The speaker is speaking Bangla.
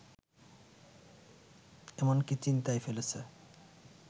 এমনকি চিন্তায় ফেলেছে